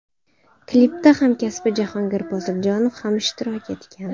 Klipda hamkasbi Jahongir Poziljonov ham ishtirok etgan.